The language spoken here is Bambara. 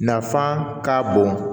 Nafan ka bon